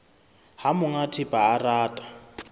ha monga thepa a rata